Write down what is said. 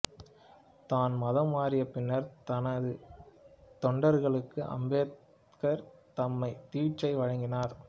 தான் மதம் மாறிய பின்னர் தனது தொண்டர்களுக்கு அம்பேத்கர் தம்மா தீட்சை வழங்கினார்